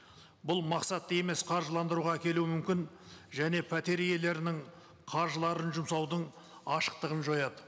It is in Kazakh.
бұл мақсатты емес қаржыландыруға әкелуі мүмкін және пәтер иелерінің қаржыларын жұмсаудың ашықтығын жояды